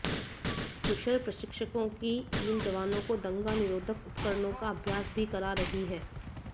कुशल प्रशिक्षकों की टीम जवानों को दंगा निरोधक उपकरणों का अभ्यास भी करा रही है